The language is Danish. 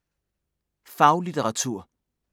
Faglitteratur